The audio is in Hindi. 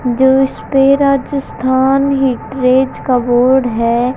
जो इसपे राजस्थान हिपरेज का बोर्ड है।